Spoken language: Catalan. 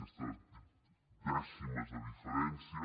aquestes dècimes de diferència